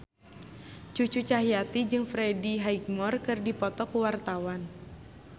Cucu Cahyati jeung Freddie Highmore keur dipoto ku wartawan